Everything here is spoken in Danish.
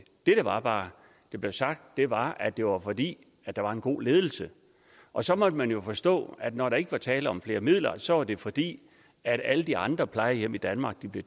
der bare blev sagt var at det var fordi der var en god ledelse og så måtte man jo forstå at når der ikke var tale om flere midler så var det fordi alle de andre plejehjem i danmark blev